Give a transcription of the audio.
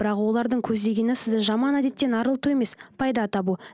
бірақ олардың көздегені сізді жаман әдеттен арылту емес пайда табу